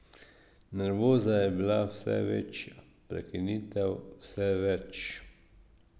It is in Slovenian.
Nervoza je bila vse večja, prekinitev vse več.